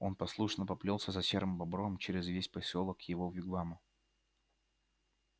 он послушно поплёлся за серым бобром через весь посёлок к его вигваму